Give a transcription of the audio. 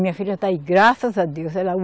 Minha filha está aí, graças a Deus. Ela